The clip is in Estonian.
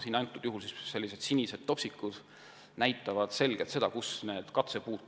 Siin slaidil märgivad sinised topsikud kohti, kus kasvavad katsepuud.